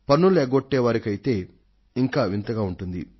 పన్నులు ఎగ్గొట్టే అలవాటున్న వాళ్లకైతే ఇంకా వింతగా ఉంటుంది